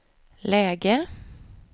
läge